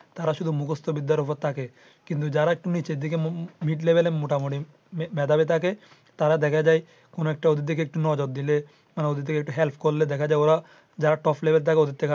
যারা top থাকে তারা শুধু মুখস্ত বিদ্যার উপর থাকে। কিন্তু যারা একটু নিচের দিকে mid level মোটামুটি মেধাবি থাকে তারা দেখা যায় ওদের দিকে একটু নজর দিলে ওদের দিকে একটু help করলে দেখা যায় যে ওরা যারা top level থাকে।